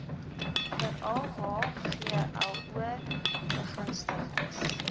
veral hglo begunstigdes